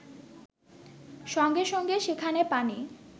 সঙ্গে সঙ্গে সেখানে পানি